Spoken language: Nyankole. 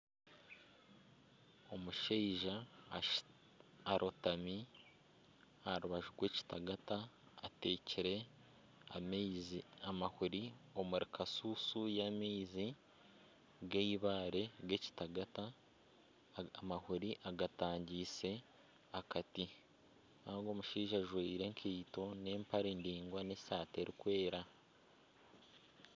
Omushaija ashutamire aha rubaju rw'ekitagata atekire amahuri omuri kushushu y'amaizi g'eibaare g'ekitagaata, aga amahuri agatangyeise akati kandi ogwo omushaija ajwire enkaito n'empare ndaingwa n'esaati erikwera